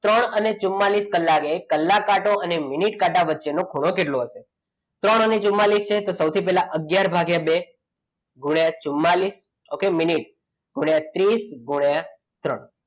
ત્રણ અને ચુમ્માળીસ કલાકે કલાક કાંટો અને મિનિટ કાંટા વચ્ચે નો ખૂણો કેટલો હશે? ત્રણ અને ચુમ્માળીસ છે તો સૌથી પહેલા અગિયાર ભાગ્યા બે ગુણ્યા ચુમ્માળીસ okay મિનિટ ગુણ્યા ત્રીસ ગુણ્યા ત્રણ.